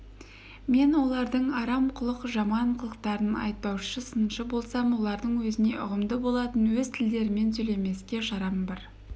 мен олардың арам құлық жаман қылықтарын айыптаушы сыншы болсам олардың өзіне ұғымды болатын өз тілдерімен сөйлемеске шарам бар